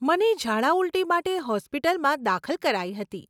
મને ઝાડા ઉલટી માટે હોસ્પિટલમાં દાખલ કરાઈ હતી.